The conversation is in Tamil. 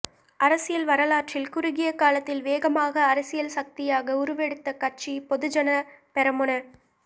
அரசியல் வரலாற்றில் குறுகிய காலத்தில் வேகமாக அரசியல் சக்தியாக உருவெடுத்த கட்சி பொதுஜன பெரமுன